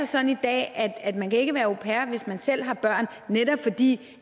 sådan i dag at man ikke kan være au pair hvis man selv har børn netop fordi